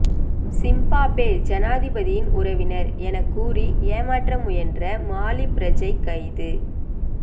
சிம்பாபே ஜனாதிபதியின் உறவினர் எனக்கூறி ஏமாற்ற முயன்ற மாலி பிரஜை கைது